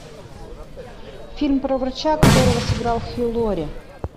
фильм про врача которого сыграл хью лори